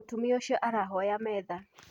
Mũtumia ũcio arahoya metha.